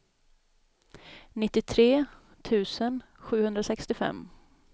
nittiotre tusen sjuhundrasextiofem